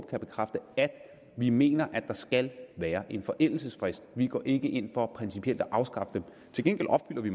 kan bekræfte at vi mener der skal være en forældelsesfrist vi går ikke ind for principielt at afskaffe dem til gengæld opfylder vi